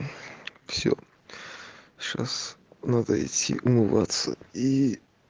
всё сейчас надо идти умываться и